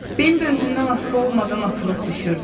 Bimbi özündən asılı olmadan atılıb düşürdü.